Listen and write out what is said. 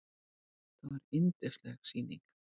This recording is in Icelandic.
Þetta var yndisleg sýning.